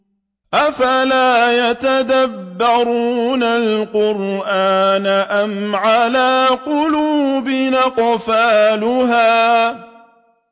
أَفَلَا يَتَدَبَّرُونَ الْقُرْآنَ أَمْ عَلَىٰ قُلُوبٍ أَقْفَالُهَا